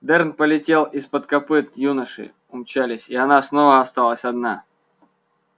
дёрн полетел из-под копыт юноши умчались и она снова осталась одна